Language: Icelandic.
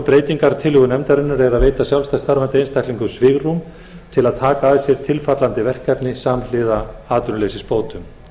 breytingartillögu nefndarinnar er að veita sjálfstætt starfandi einstaklingum svigrúm til að taka að sér tilfallandi verkefni samhliða atvinnuleysisbótum